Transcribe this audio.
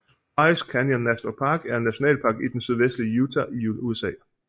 Bryce Canyon National Park er en nationalpark i den sydvestlige Utah i USA